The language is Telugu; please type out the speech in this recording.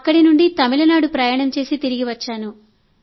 అక్కడి నుంచి తమిళనాడు ప్రయాణం చేసి తిరిగి వచ్చాను